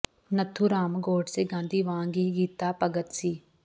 ਨੱਥੂ ਰਾਮ ਗੌਡਸੇ ਗਾਂਧੀ ਵਾਂਗ ਹੀ ਗੀਤਾ ਭਗਤ ਸੀ